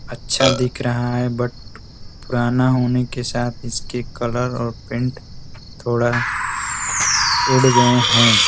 अच्छा दिख रहा है बट पुराना होने के साथ इसके कलर और पेंट थोडा उड़ गये हैं।